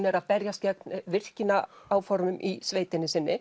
er að berjast gegn virkjunaráformum í sveitinni sinni